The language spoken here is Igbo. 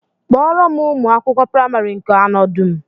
Kpọọrọ m ụmụ akwụkwọ praịmarị nke anọ dum!